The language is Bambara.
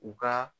U ka